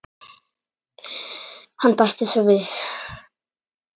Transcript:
Hann bætti svo við